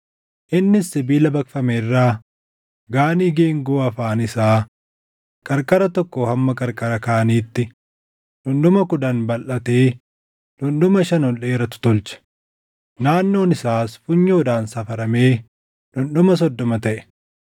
Innis sibiila baqfame irraa Gaanii geengoo afaan isaa qarqara tokkoo hamma qarqara kaaniitti dhundhuma kudhan balʼatee dhundhuma shan ol dheeratu tolche; naannoon isaas funyoodhaan safaramee dhundhuma soddoma taʼe.